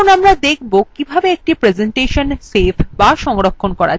এখন আমরা দেখব কিভাবে একটি প্রেসেন্টেশন save বা সংরক্ষণ করা যায়